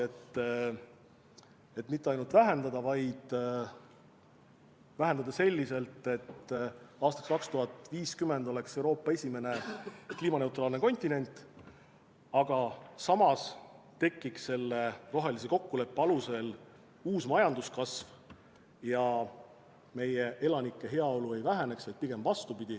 Me ei soovi mitte ainult emissiooni vähendada, vaid vähendada selliselt, et aastaks 2050 oleks Euroopa esimene kliimaneutraalne kontinent, aga samas tekiks selle rohelise kokkuleppe alusel uus majanduskasv ja meie elanike heaolu ei väheneks, vaid pigem vastupidi.